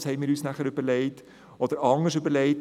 Das haben wir uns überlegt, oder anders überlegt: